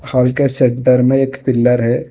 हाल के सेंटर में एक पिलर है।